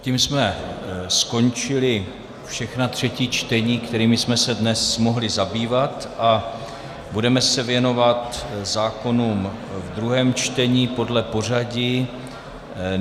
Tím jsme skončili všechna třetí čtení, kterými jsme se dnes mohli zabývat a budeme se věnovat zákonům v druhém čtení podle pořadí.